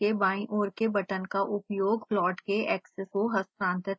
zoom के बायीं ओर के बटन का उपयोग प्लॉट के axes को हस्तांरित करने के लिए कर सकते हैं